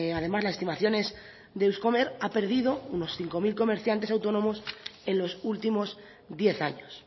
además las estimaciones de euskomer ha perdido unos cinco mil comerciantes autónomos en los últimos diez años